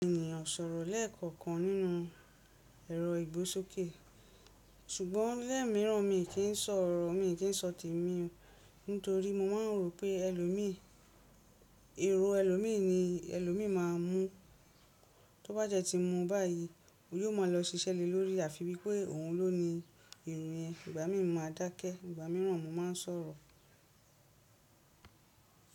Ènìyàn ò ṣòro lẹ́ẹ̀kọ̀kan nínú ẹrọ igbósókè ṣùgbọ́n lẹ́ẹ̀míràn mi kì í ṣọ ọ̀rọ̀, mi kì í ṣọ tèmi nítorí mo máa ń rò pé ẹlòmíì, èrò ẹlòmíì ni ẹlòmíì má a mú. Tó bá jẹ́ tí mú báyìí, òun yóò máa lọ ṣiṣẹ́ lé lórí àfi bí pé òun ló ní èrò rẹ̀. Ìgbà míì mo má a dákẹ́, ìgbà míràn mo máa ń sọ̀rọ̀.